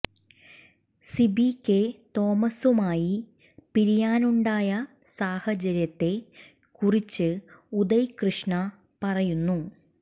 Sibi K തോമസുമായി പിരിയാനുണ്ടായ സാഹചര്യത്തെ കുറിച്ച് ഉദയ് കൃഷ്ണ പറയുന്നു